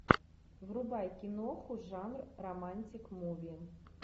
врубай киноху жанр романтик муви